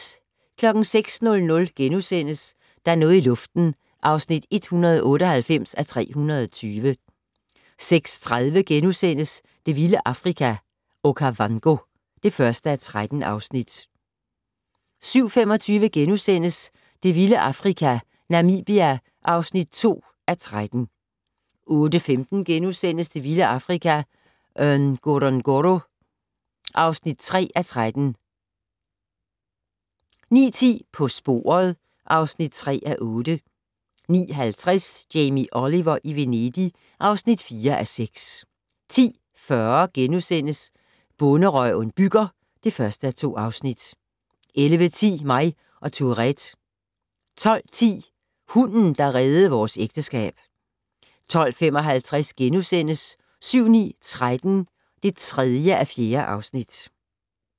06:00: Der er noget i luften (198:320)* 06:30: Det vilde Afrika - Okavango (1:13)* 07:25: Det vilde Afrika - Namibia (2:13)* 08:15: Det vilde Afrika - Ngorongoro (3:13)* 09:10: På sporet (3:8) 09:50: Jamie Oliver i Venedig (4:6) 10:40: Bonderøven bygger (1:2)* 11:10: Mig og Tourettes 12:10: Hunden, der reddede vores ægteskab 12:55: 7-9- 13 (3:4)*